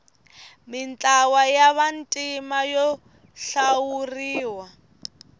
mintlawa ya vantima yo hlawuriwa